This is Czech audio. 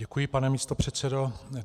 Děkuji, pane místopředsedo.